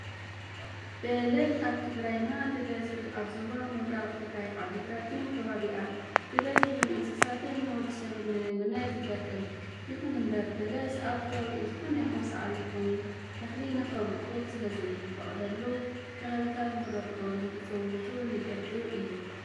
በሊስ ኣብ ትግራይና ብበዝሒ ኣብ ዞባ ምብራቅ ትግራይ ዓድግራትን ከባቢኣን ብበዝሒ ንእንስሳትን ንወዲሰብን ንምግብነት ይጠቅም። ይኹን እምበር በለስ ኣብ ከባቢኡ ዝኾነ ይኹን ሳዕሪ ይኩን ተኸሊ ንክበቁል ስለዘይፈቅደሉ ከባቢታት ንክደርቁን ንክፅውቱን ይገብር እዩ።